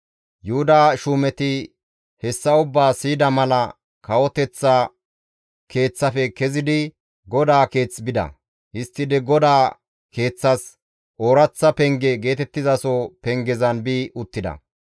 Yuhuda shuumeti hessa ubbaa siyida mala kawoteththa keeththafe kezidi GODAA Keeth bida. Histtidi GODAA Keeththas, «Ooraththa Penge» geetettizaso pengezan bi uttida.